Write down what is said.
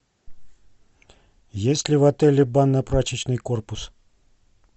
есть ли в отеле банно прачечный корпус